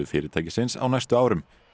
fyrirtæksins á næstu árum